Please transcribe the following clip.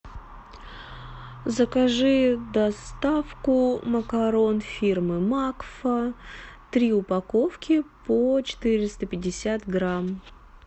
закажи доставку макарон фирмы макфа три упаковки по четыреста пятьдесят грамм